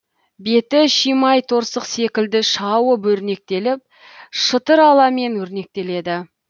беті шимайторсық секілді шауып өрнектеліп шытыраламен өрнектеледі